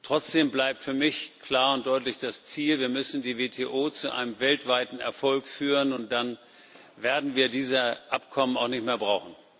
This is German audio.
Trotzdem bleibt für mich klar und deutlich das Ziel Wir müssen die WTO zu einem weltweiten Erfolg führen, und dann werden wir diese Abkommen auch nicht mehr brauchen.